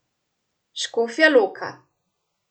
Škofja Loka.